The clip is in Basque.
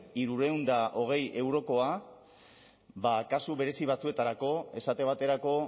hirurehun eta hogei eurokoa ba kasu berezi batzuetarako esate baterako